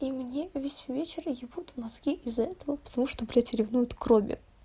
и мне весь вечер ебут мозги из-за этого потому что блядь ревнуют к роме